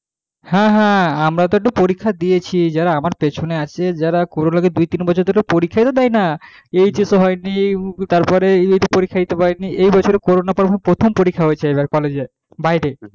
হ্যাঁ আমরা তো পরীক্ষা দিয়েছি যারা যারা আমার পেছনে আছে তারা কোন ধরনের পরীক্ষায় তো দেয় না HS হয়নি তারপরে পরীক্ষা দিতে পারিনি এই বছর করোনার পর প্রথম পরীক্ষা আছে এবার কলেজে বাইরে,